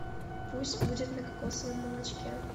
пусть будет на кокосовом молочке